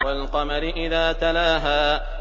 وَالْقَمَرِ إِذَا تَلَاهَا